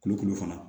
Kulukulu fana